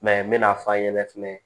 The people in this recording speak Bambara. n mɛna f'a ɲɛna fɛnɛ